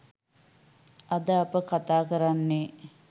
අද අප කතා කරන්නේ